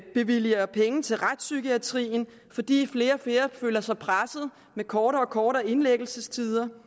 bevilger penge til retspsykiatrien fordi flere og flere føler sig presset med kortere og kortere indlæggelsestider